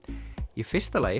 í fyrsta lagi